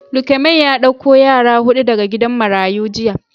Lukeman ya dauko yara hudu daga gidan marayu jiya.